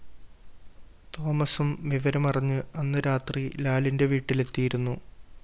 തോമസും വിവരമറിഞ്ഞ് അന്ന് രാത്രി ലാലിന്റെ വീട്ടിലെത്തിയിരുന്നു